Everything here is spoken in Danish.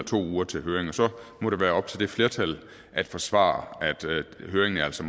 to uger til høring og så må det være op til det flertal at forsvare at høringen altså